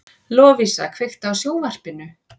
Lovísa, kveiktu á sjónvarpinu.